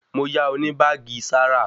Mo yá ọ ní báàgì Zara